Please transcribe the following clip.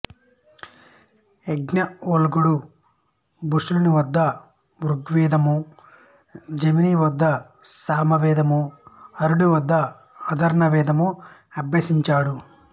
యాజ్ఞవల్క్యుడు బాష్కలుని వద్ద బుగ్వేదము జైమిని వద్ద సామవేదము అరుణి వద్ద ఆధర్వణ వేదము అభ్యసించాడు